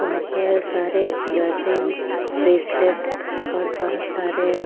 वहां पर सारे ईयरिंग्स ब्रेसलेट्स और बहुत सारे --